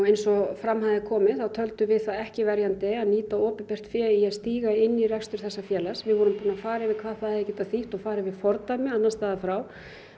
eins og fram hafði komið þá töldum við það ekki verjandi að nýta opinbert fé í að stíga inn í rekstur þessa félags við vorum búin að fara yfir hvað það hefði getað þýtt og fara yfir fordæmi annars staðar frá